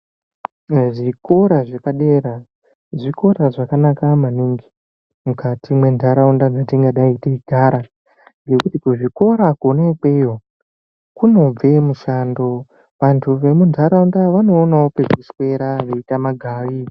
Zvikora zvepadera zvikora zvakanaka maningi mukati mwendaraunda yatingadai teigara nekuti kuzvikora kona ikweyo kunobve mushando vantu vemundaraunda vanoonawo kwekuswera veiita magau.